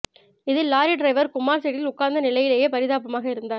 இதில் lorry driver Kumar சீட்டில் உட்கார்ந்த நிலையிலேயே பரிதாபமாக இறந்தார்